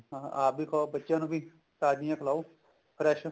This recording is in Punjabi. ਹਾਂ ਆਪ ਵੀ ਖਾਓ ਬੱਚਿਆਂ ਨੂੰ ਵੀ ਤਾਜ਼ੀਆਂ ਖਲਾਓ fresh